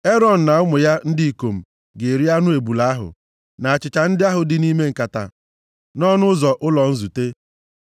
Erọn na ụmụ ya ndị ikom ga-eri anụ ebule ahụ, na achịcha ndị ahụ dị nʼime nkata nʼọnụ ụzọ ụlọ nzute.